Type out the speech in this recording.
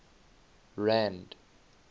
rand